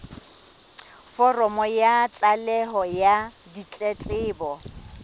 foromo ya tlaleho ya ditletlebo